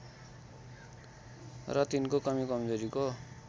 र तिनको कमीकमजोरीको